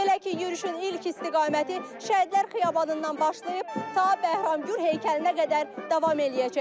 Belə ki, yürüyüşün ilk istiqaməti Şəhidler Xiyabanından başlayıb ta Bəhramgür heykəlinə qədər davam eləyəcək.